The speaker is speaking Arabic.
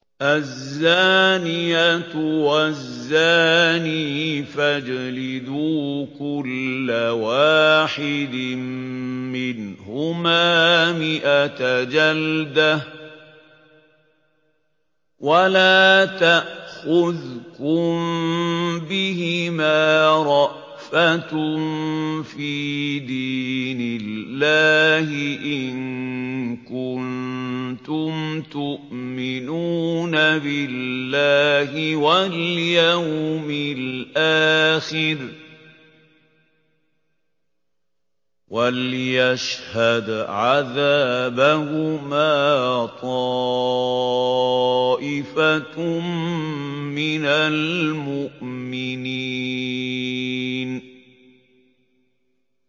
الزَّانِيَةُ وَالزَّانِي فَاجْلِدُوا كُلَّ وَاحِدٍ مِّنْهُمَا مِائَةَ جَلْدَةٍ ۖ وَلَا تَأْخُذْكُم بِهِمَا رَأْفَةٌ فِي دِينِ اللَّهِ إِن كُنتُمْ تُؤْمِنُونَ بِاللَّهِ وَالْيَوْمِ الْآخِرِ ۖ وَلْيَشْهَدْ عَذَابَهُمَا طَائِفَةٌ مِّنَ الْمُؤْمِنِينَ